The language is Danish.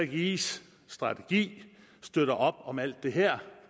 gggis strategi støtter op om alt det her